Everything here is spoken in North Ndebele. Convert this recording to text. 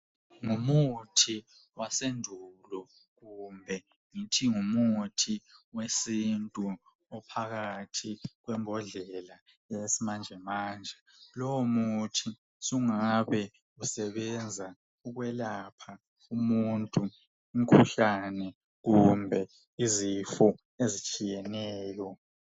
Ngumuthi wasendulo kumbe ngithi ngumuthi wesintu ophakathi kwembodlela yesimanjemanje. Lowomuthi usungabe usebenza ukwelapha umuntu umkhuhlane, kumbe izifo ezitshiyeneyo.